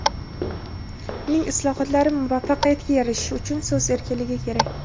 uning islohotlari muvaffaqiyatga erishishi uchun so‘z erkinligi kerak.